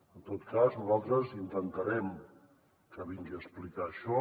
en tot cas nosaltres intentarem que vingui a explicar això